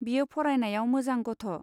बियो फरायनायाव मोजां गथ'.